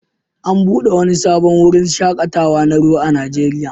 An buɗe wani sabon wurin shaƙatawa na ruwa a Najeriya